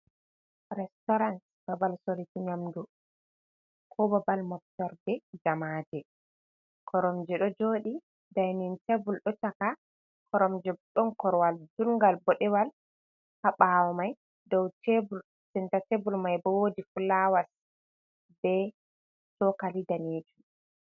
Restaurans babal sorukii nyamdu ko ɓabal moftorde jamaje, koromje ɗo joɗi dainin tebul do chaka koromje be ɗon korwal judnal bodewala ha bawo mai don senta tebul, mai bo wodi fulawas be cokali danejum.